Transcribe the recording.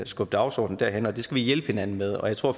skubbe dagsordenen derhen det skal vi hjælpe hinanden med og jeg tror